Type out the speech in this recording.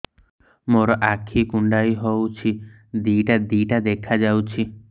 ମୋର ଆଖି କୁଣ୍ଡାଇ ହଉଛି ଦିଇଟା ଦିଇଟା ଦେଖା ଯାଉଛି